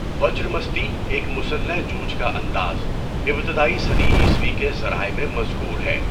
وجرا مستی، ایک مسلح جوجھ کا انداز، ابتدائی صدی عیسوی کے ذرائع میں مذکور ہے۔